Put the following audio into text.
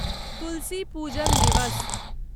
तुलसी पूजन दिवस